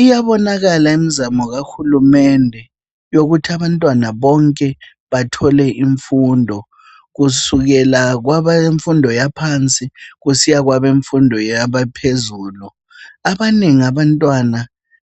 iyabonakala imzamo kahulumende yokuthi abantwana bonke bathole imfundo kusukela kwabemfundo yaphansi kusiya kwabemfundo yaphezulu abanengi abntwana